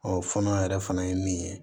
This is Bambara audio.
fɔnɔ yɛrɛ fana ye min ye